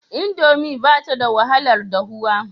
Indomi ba ta da wahalar dahuwa.